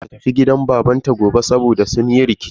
Ya ce wai matar sa ta tafi gidan babanta gobe saboda sun yi rikici.